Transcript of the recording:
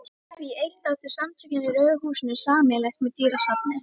Því eitt áttu Samtökin í Rauða húsinu sameiginlegt með dýrasafni